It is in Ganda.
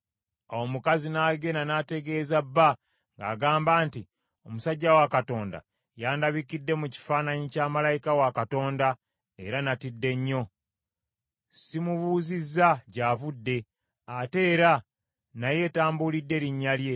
Awo omukazi n’agenda n’ategeeza bba, ng’agamba nti, “Omusajja wa Katonda yandabikidde mu kifaananyi kya malayika wa Katonda, era natidde nnyo. Simubuuzizza gy’avudde, ate era naye tambulidde linnya lye.